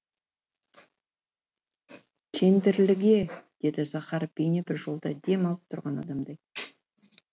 кендірліге деді захаров бейне бір жолда дем алып тұрған адамдай